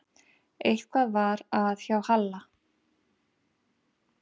Eitthvað var að hjá Halla.